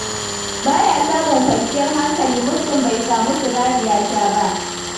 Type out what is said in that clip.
Ba ya samun kwanciyar hankali muddin bai samu sigari ya sha ba.